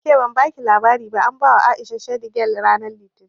Ke ban baki labari ba an bawa A'isha shidi gal ranar Litinin